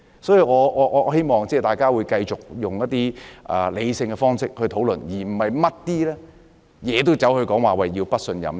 所以，我希望大家會用理性的方式去討論，而不是凡事都說不信任。